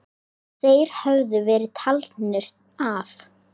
Þeir höfðu verið taldir af.